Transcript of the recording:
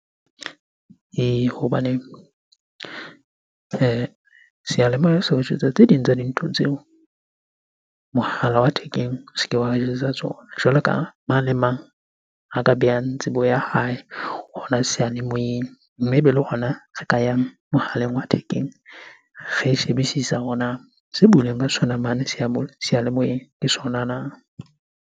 Ee, hobaneng seyalemoya se o jwetsa tse ding tsa dintho tseo mohala wa thekeng o se ke wa o jwetsa tsona. Jwalo ka mang le mang a ka behang tsebo ya hae hona seyalemoyeng, mme ebe le hona a ka yang mohaleng wa thekeng. Re shebisisa hore na se seyalemoyeng ke sona na?